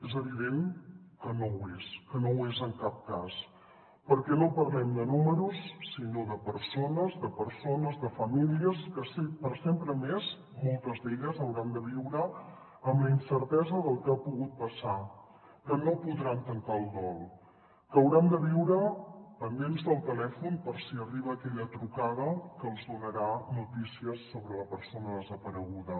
és evident que no ho és que no ho és en cap cas perquè no parlem de números sinó de persones de persones de famílies que per sempre més moltes d’elles hauran de viure amb la incertesa del que ha pogut passar que no podran tancar el dol que hauran de viure pendents del telèfon per si arriba aquella trucada que els donarà notícies sobre la persona desapareguda